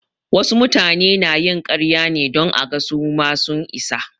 Wasu mutane na yin ƙarya ne don aga su ma sun isa.